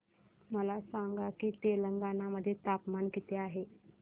मला सांगा की तेलंगाणा मध्ये तापमान किती आहे